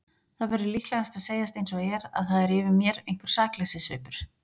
Það verður líka að segjast einsog er að það er yfir mér einhver sakleysissvipur.